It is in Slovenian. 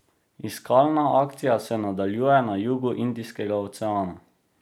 Iskalna akcija se nadaljuje na jugu Indijskega oceana.